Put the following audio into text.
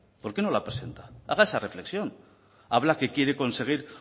por qué no la presenta haga esa reflexión habla que quiere conseguir